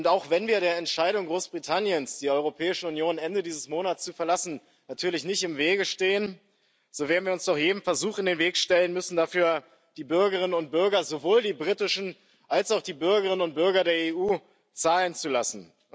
Auch wenn wir der Entscheidung Großbritanniens, die Europäische Union Ende dieses Monats zu verlassen, natürlich nicht im Wege stehen, so werden wir uns doch jedem Versuch in den Weg stellen müssen, die Bürgerinnen und Bürger, sowohl die britischen als auch die Bürgerinnen und Bürger der EU, dafür zahlen zu lassen.